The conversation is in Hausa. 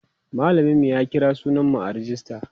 mallamin mu ya kira sunan mu a rejista